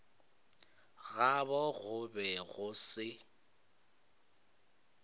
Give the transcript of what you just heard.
gabo go be go se